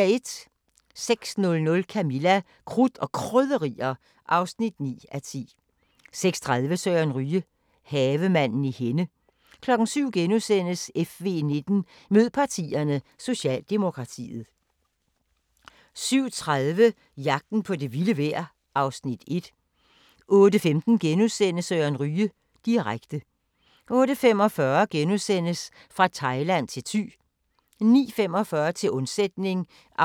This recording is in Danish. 06:00: Camilla – Krudt og Krydderier (9:10) 06:30: Søren Ryge – Havemanden i Henne 07:00: FV19: Mød partierne – Socialdemokratiet * 07:30: Jagten på det vilde vejr (Afs. 1) 08:15: Søren Ryge direkte * 08:45: Fra Thailand til Thy * 09:45: Til undsætning (44:48) 10:30: